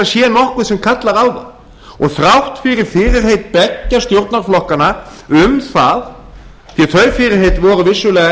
sé nokkuð sem kallar á það og þrátt fyrir fyrirheit beggja stjórnarflokkanna um það því að þau fyrirheit voru vissulega